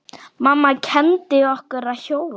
Mamma kenndi okkur að hjóla.